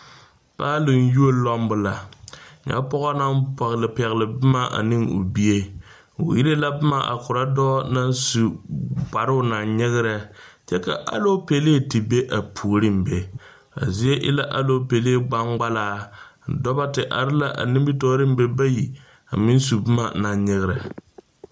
Paaloŋ yuo lumbo la, nyɛ pɔge naŋ pɛgele pɛgele boma ane o bie, o irree la boma a kɔrɔ dɔɔ naŋ su kparoo naŋ nyigire, kyɛ ka alɔɔpele te be a puoriŋ be, a zie e la alɔɔpele gbangbalaa, Dɔba te are la a nimitɔreŋ be bayi a meŋ su boma naŋ nyigire.